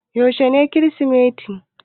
Yaushe ne Kirsimeti?